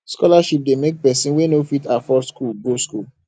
scholarship de make persin wey no fit afford school go school